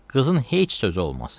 Qızın heç sözü olmaz.